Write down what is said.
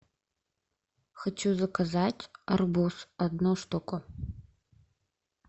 хочу заказать арбуз одну штуку